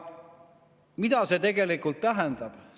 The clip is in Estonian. Mida see tegelikult tähendab?